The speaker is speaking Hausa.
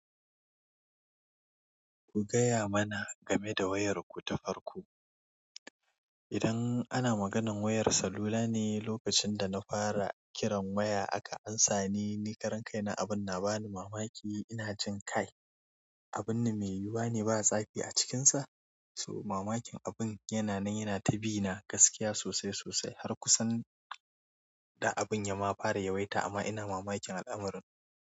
Ku gaya mana game da wayarku ta farko. Idan ana maganan wayar salula ne, lokacin da na fara kiran waya aka amsa ni, ni karan kai na abun na ba ni mamaki, ina jin kai abun nan mai yiyuwane ba stafi a cikinsa, so mamakin abun yana nan yana ta bi na gaskiya sosai sosai har kusan da abun ya ma fara yawaita amma ina mamakin al'amuran.